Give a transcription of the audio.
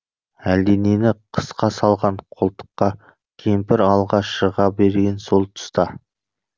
әлденені қысқа салған қолтыққа кемпір алға шыға берген сол тұста